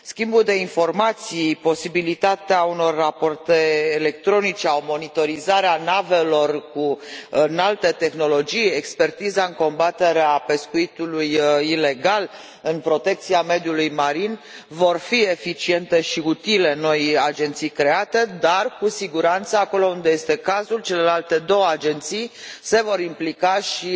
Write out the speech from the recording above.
Schimbul de informații, posibilitatea unor rapoarte electronice sau monitorizarea navelor cu înaltă tehnologie, expertiza în combaterea pescuitului ilegal în protecția mediului marin vor fi eficiente și utile noii agenții create dar, cu siguranță, acolo unde este cazul, celelalte două agenții se vor implica și